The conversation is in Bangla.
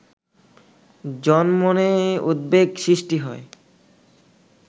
জনমনে উদ্বেগ সৃষ্টি হয়